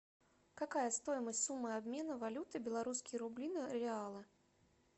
какая стоимость суммы обмена валюты белорусские рубли на реалы